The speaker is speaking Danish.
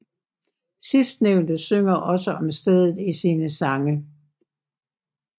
Sidstnævnte synger også om stedet i sine sange